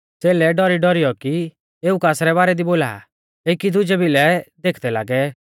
च़ेलै डौरीडौरीयौ कि एऊ कासरै बारै दी बोला आ एकी दुजै भिलै देखदै लागै